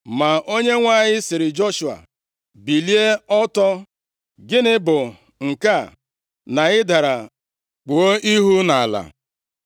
Ma Onyenwe anyị sịrị Joshua, “Bilie ọtọ! Gịnị bụ nke a, na ị dara kpuo ihu nʼala?